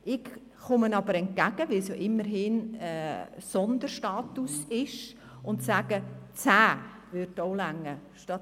Ich komme aber entgegen, weil es ja immerhin ein Sonderstatus ist, und sage: 10 statt 12 würden auch reichen.